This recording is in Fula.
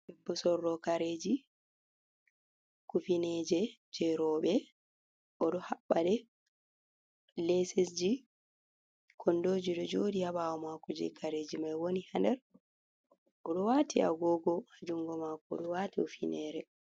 debbo sorrowo kareji kufineje je robe odo habbadɗe, lesesji kondoji do jodi habawo mako je kareji mai woni hander, odo wati agogo ajungo mako odo wati hufinere.